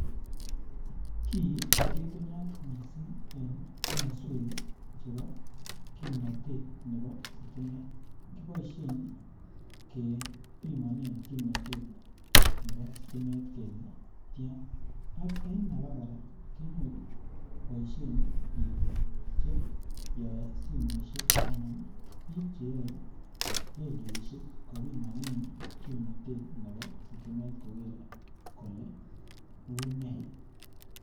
Ki kobitunat mising en komoswek chebo kimnatet nebo sitimet kiboisien kebimonen kimnatet nebo sitimet kele tian en abagoraa kenyoru koboisien bik chechobe simoisiek Anan Che yoe radioisiek kole unee.